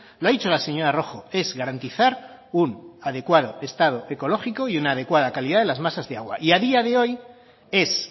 lo ha dicho la señora rojo es garantizar un adecuado estado ecológico y una adecuada calidad de las masas de agua y a día de hoy es